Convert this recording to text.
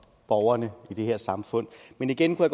borgerne i det her samfund men igen kunne